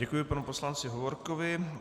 Děkuji panu poslanci Hovorkovi.